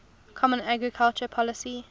common agricultural policy